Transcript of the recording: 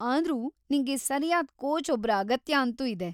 ಆದ್ರೂ ನಿಂಗೆ ಸರ್ಯಾದ್ ಕೋಚ್‌ ಒಬ್ರ ಅಗತ್ಯ ಅಂತೂ ಇದೆ.